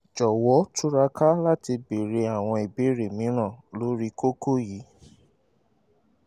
jọ̀wọ́ túraká láti béèrè àwọn ìbéèrè mìíràn lórí kókó yìí